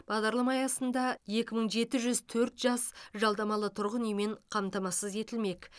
бағдарлама аясында екі мың жеті жүз төрт жас жалдамалы тұрғын үймен қамтамасыз етілмек